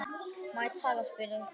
Má ég tala? spyr Eyþór.